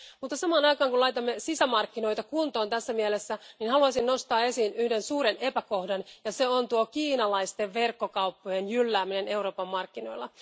Mutta samaan aikaan kun laitamme sisämarkkinoita kuntoon tässä mielessä, haluaisin nostaa esiin yhden suuren epäkohdan ja se on kiinalaisten verkkokauppojen jyllääminen Euroopan markkinoilla.